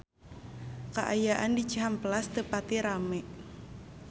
Kaayaan di Cihampelas teu pati rame